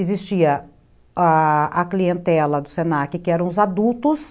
Existia a a clientela do se na que, que eram os adultos,